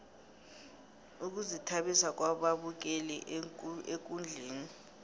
ukuzithabisa kwababukeli ekundleni